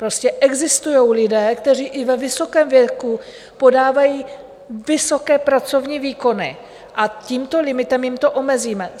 Prostě existují lidé, kteří i ve vysokém věku podávají vysoké pracovní výkony, a tímto limitem jim to omezíme.